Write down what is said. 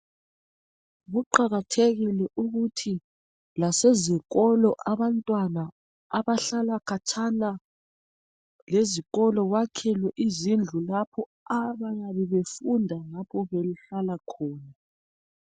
Kuqajathekile ukuthi lasezikolo, abantwana abahlala khatshana, lezikolo bakhelwe izindlu. Lapho abayabe befunda behlala khona.